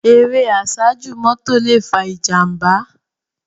Éré àsájú mòtó lé fá ijàmbá